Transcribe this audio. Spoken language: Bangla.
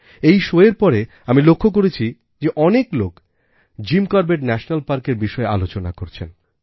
এই শোএর পরে আমি লক্ষ করেছি যে অনেক লোক জিম করবেট ন্যাশনাল পার্কের বিষয়ে আলোচনা করছেন